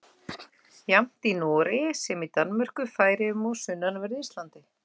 Jafnt í Noregi sem í Danmörku, Færeyjum og á sunnanverðu Íslandi.